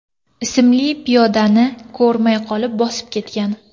ismli piyodani ko‘rmay qolib bosib ketgan.